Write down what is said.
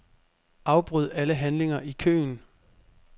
Afbryd alle handlinger i køen.